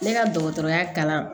Ne ka dɔgɔtɔrɔya kalan